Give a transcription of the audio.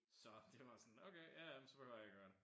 Så det var sådan okay ja ja men så behøver jeg ikke at gøre det